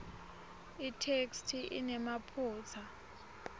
itheksthi inemaphutsa